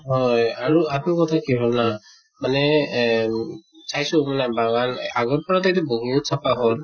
হয় আৰু কথা কি হʼল জানা মানে এহ চাইছো মানে বাগান আগৰ পৰা ত এইটো বহুত চাফা হʼল